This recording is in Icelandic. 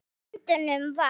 Á endanum var